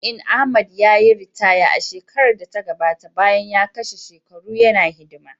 Jami’in Ahmed, ya yi ritaya a shekarar da ta gabata bayan ya kwashe shekaru yana hidima.